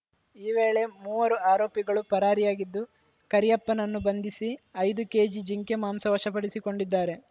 ಈ ವೇಳೆ ಮೂವರು ಆರೋಪಿಗಳು ಪರಾರಿಯಾಗಿದ್ದು ಕರಿಯಪ್ಪನನ್ನು ಬಂಧಿಸಿ ಐದು ಕೇಜಿ ಜಿಂಕೆ ಮಾಂಸ ವಶ ಪಡಿಸಿಕೊಂಡಿದ್ದಾರೆ